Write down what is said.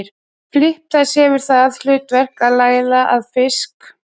Flipi þessi hefur það hlutverk að laða að fisk.